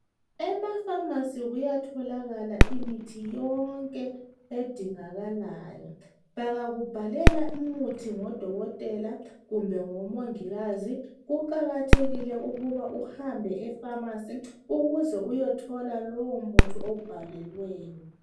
Emafamasi kuyatholakala imithi yonke edingakalayo bengakubhalela umuthi ngodokotela kumbe ngomongikazi kuqakathekile ukuthi uhambe efamasi uyethola lowo muthi owubhalelweyo.